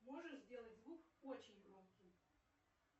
можешь сделать звук очень громким